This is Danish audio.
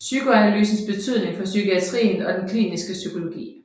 PSYKOANALYSENS BETYDNING FOR PSYKIATRIEN OG DEN KLINISKE PSYKOLOGI